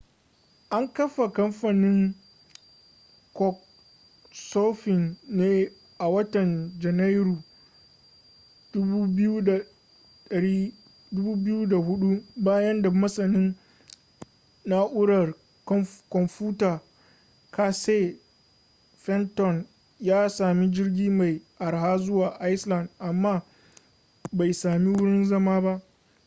an kafa kamfanin couchsurfing ne a watan janairun 2004 bayan da masanin na'urar kwamfuta casey fenton ya sami jirgi mai arha zuwa iceland amma bai sami wurin zama ba